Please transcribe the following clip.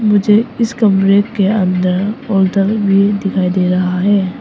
मुझे इस कमरे के अंदर होटल भी दिखाई दे रहा है।